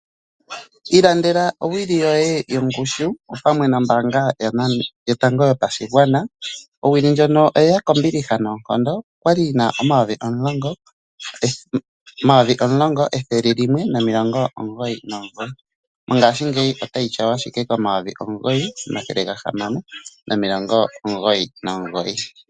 Ilandela owili yoye yongushu opamwe nombaanga yotango yopashigwana, owili ndjono oyili kombiliha noonkondo, okwali yina omayovi omulongo ethele limwe nomilongo omugoyi nomugoyi, mongaashingeyi oyina omayovi omugoyi omathele gahamano nomilongo omugoyi nomugoyi.